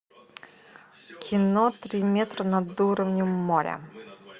кино три метра над уровнем моря